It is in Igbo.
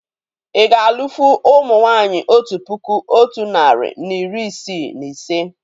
Ì ga alụ́fụ̀ ụmụ nwaanyị otu puku otu narị na iri isii na ise?